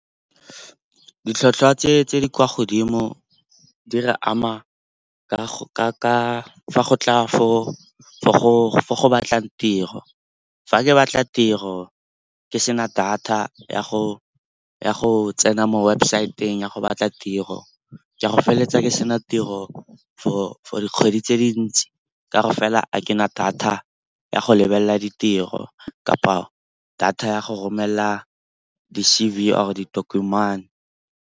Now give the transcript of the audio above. Ditlhotlhwa tse di kwa godimo di re ama fa go tla fo go batlang tiro. Fa ke batla tiro ke sena data ya go tsena mo website-eng ya go batla tiro, ke a go feleletsa ke sena tiro for dikgwedi tse dintsi ka gore fela ga kena data ya go lebelela ditiro kapa data ya go romelela di-C_V or-e ditokomane.